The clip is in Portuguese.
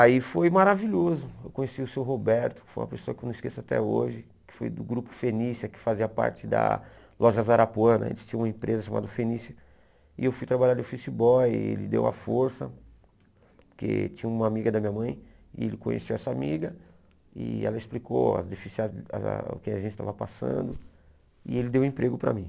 Aí foi maravilhoso, eu conheci o seu Roberto, que foi uma pessoa que eu não esqueço até hoje, que foi do grupo Fenícia, que fazia parte da loja Zarapuana, eles tinham uma empresa chamada Fenícia, e eu fui trabalhar de office boy, ele deu a força, porque tinha uma amiga da minha mãe, e ele conheceu essa amiga, e ela explicou a difícil ah o que a gente estava passando, e ele deu o emprego para mim.